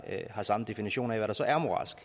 har samme definition af hvad der så er moralsk